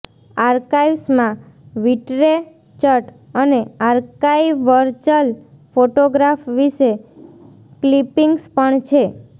આર્કાઇવ્સમાં વિટ્રેચટ અને આર્કાઇવર્ચલ ફોટોગ્રાફ વિશે ક્લિપિંગ્સ પણ છે